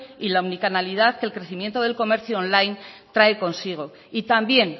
y la unicanalidad que el crecimiento del comercio online trae consigo y también